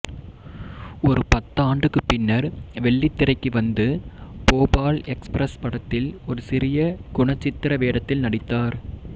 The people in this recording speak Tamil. ஒரு பத்தாண்டுக்குப் பின்னர் வெள்ளித்திரைக்கு வந்து போபால் எக்ஸ்பிரஸ் படத்தில் ஒரு சிறிய குணச்சித்திர வேடத்தில் நடித்தார்